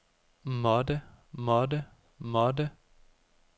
måtte måtte måtte